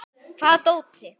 Hvaða dóti?